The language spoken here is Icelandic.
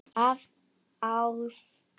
Af ást.